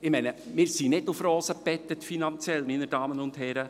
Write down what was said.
Ich meine, wir sind finanziell nicht auf Rosen gebettet, meine Damen und Herren.